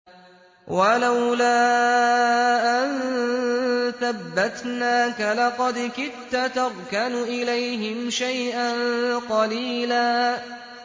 وَلَوْلَا أَن ثَبَّتْنَاكَ لَقَدْ كِدتَّ تَرْكَنُ إِلَيْهِمْ شَيْئًا قَلِيلًا